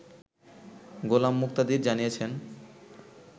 গোলাম মুক্তাদির জানিয়েছেন